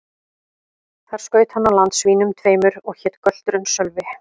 Þar skaut hann á land svínum tveimur, og hét gölturinn Sölvi.